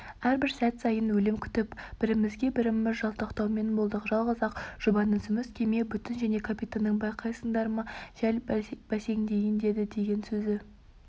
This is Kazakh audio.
әрбір сәт сайын өлім күтіп бірімізге біріміз жалтақтаумен болдық жалғыз-ақ жұбанышымыз кеме бүтін және капитанның байқайсыңдар ма жел бәсеңдейін деді деген сөзі